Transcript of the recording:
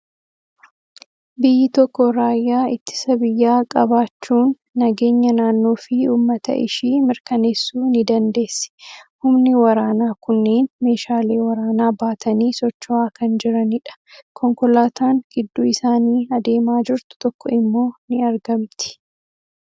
Biyyi tokko raayyaa ittisa biyyaa qabaachuun nageenya naannoo fi uummata ishii mirkaneessuu ni dandeessi. Humni waraanaa kunneen meeshaalee waraanaa baatanii socho'aa kan jiranidha. Konkolaataan gidduu isaanii adeemaa jirtu tokko immoo ni argamti.